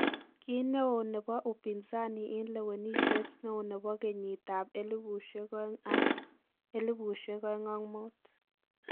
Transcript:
Kineo nebo upinzani en lewenisien neo nebo keyiit ab 2000 ak 2005.